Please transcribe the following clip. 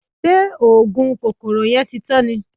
Ṣé oògùn kòkòrò yẹn ti tán ni?